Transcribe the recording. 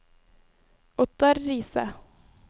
Ottar Riise